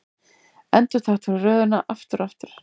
Endurtaktu röðina aftur og aftur.